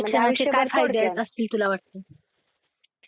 मग ते शिक्षणाविषयी काय फायदे असतील तुला वाटतं?